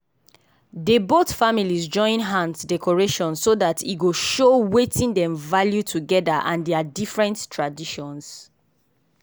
dey both families join hands decoration so that e go show wetin dem value together and their different traditions.